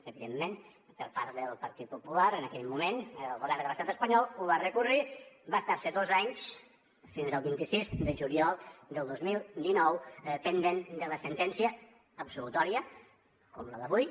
evidentment per part del partit popular en aquell moment al govern de l’estat espanyol ho va recórrer va estar se dos anys fins al vint sis de juliol del dos mil dinou pendent de la sentència absolutòria com la d’avui